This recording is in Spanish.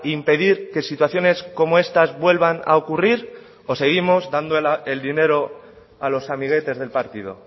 impedir que situaciones como estas vuelvan a ocurrir o seguimos dando el dinero a los amiguetes del partido